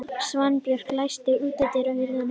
Svanbjörg, læstu útidyrunum.